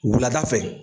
Wulada fɛ